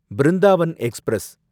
Brindavan express